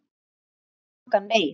Ég sór rangan eið.